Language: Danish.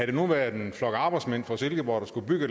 det nu været en flok arbejdsmænd fra silkeborg der skulle bygge